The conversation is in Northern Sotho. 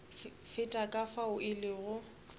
feta ka fao e lego